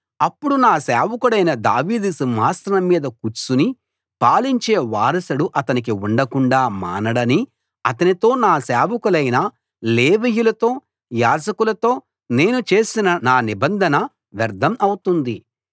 అప్పుడు నా సేవకుడైన దావీదు సింహాసనం మీద కూర్చుని పాలించే వారసుడు అతనికి ఉండకుండా మానడని అతనితో నా సేవకులైన లేవీయులతో యాజకులతో నేను చేసిన నా నిబంధన వ్యర్ధం అవుతుంది